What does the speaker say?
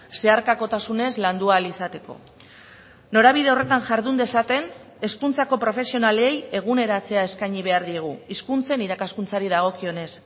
zeharkakotasunez landu ahal izateko norabide horretan jardun dezaten hezkuntzako profesionalei eguneratzea eskaini behar diegu hizkuntzen irakaskuntzari dagokionez